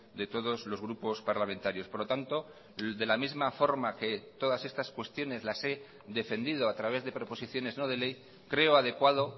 de todos los grupos parlamentarios por lo tanto de la misma forma que todas estas cuestiones las he defendido a través de proposiciones no de ley creo adecuado